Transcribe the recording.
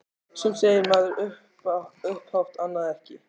Sumt segir maður upphátt- annað ekki.